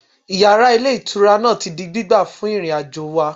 Yàrá Ilé Ìtura náà ti di gbígbà fún ìrìnàjò wà